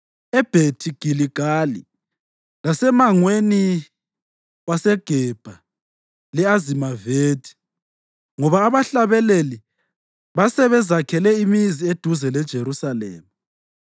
eBhethi Giligali, lasemangweni waseGebha le-Azimavethi, ngoba abahlabeleli basebezakhele imizi eduze leJerusalema.